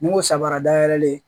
Ni n ko samara dayɛlɛlen